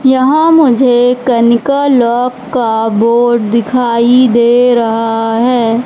यहां मुझे कनिका लॉक का बोड दिखाई दे रहा है।